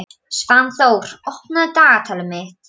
Svanþór, opnaðu dagatalið mitt.